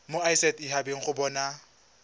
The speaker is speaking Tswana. mo set habeng go bona